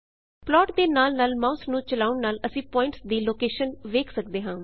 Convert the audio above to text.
plot ਦੇ ਨਾਲ ਨਾਲ ਮਾਉਸ ਨੂੰ ਚਲਾਉਨ ਨਾਲ ਅਸੀਂ ਪੁਆਇੰਟਸ ਦੀ ਲੋਕੇਸ਼ਨ ਵੇਖ ਸਕਦੇ ਹਾਂ